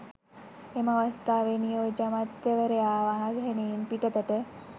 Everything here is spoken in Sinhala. එම අවස්ථාවේ නියෝජ්‍ය අමාත්‍යවරයා වාහනයෙන් පිටතට